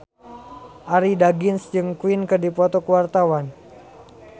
Arie Daginks jeung Queen keur dipoto ku wartawan